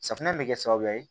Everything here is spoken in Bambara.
Safunɛ bɛ kɛ sababu ye